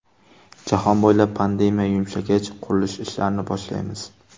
Jahon bo‘ylab pandemiya yumshagach, qurilish ishlarini boshlaymiz.